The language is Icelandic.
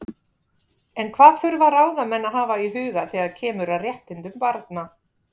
En hvað þurfa ráðamenn að hafa í huga þegar kemur að réttindum barna?